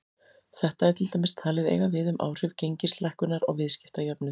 Þetta er til dæmis talið eiga við um áhrif gengislækkunar á viðskiptajöfnuð.